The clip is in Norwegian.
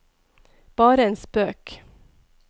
bare en spøk